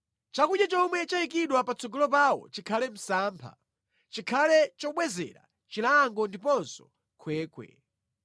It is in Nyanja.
Chakudya chomwe chayikidwa patsogolo pawo chikhale msampha; chikhale chobwezera chilango ndiponso khwekhwe.